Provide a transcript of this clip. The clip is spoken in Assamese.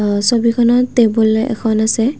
অ ছবিখনত টেবুল এখন আছে।